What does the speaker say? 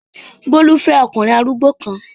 Bólú fẹ́ ọkùnrin arúgbó kan.